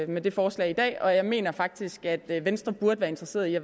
med det forslag i dag og jeg mener faktisk at venstre burde være interesseret i